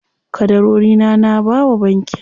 Ƙadarorina na bawa bankin.